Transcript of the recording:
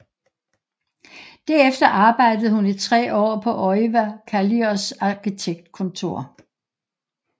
Derefter arbejdede hun i tre år på Oiva Kallios arkitektkontor